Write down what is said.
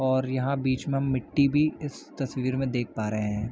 और यहाँ बीच म मिट्टी भी इस तस्वीर में देख पा रहे हैं।